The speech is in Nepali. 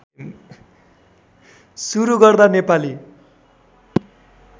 सुरू गर्दा नेपाली